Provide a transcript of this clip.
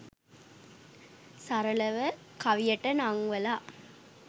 සරලව කවියට නංවලා